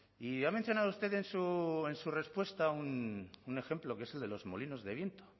y ha mencionado usted en su respuesta un ejemplo que es el de los molinos de viento